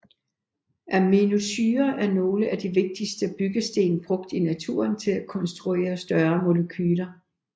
Aminosyrer er nogle af de vigtigste byggesten brugt i naturen til at konstruere større molekyler